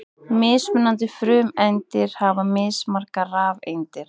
Mismunandi frumeindir hafa mismargar rafeindir.